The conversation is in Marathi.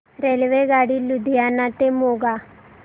रेल्वेगाडी लुधियाना ते मोगा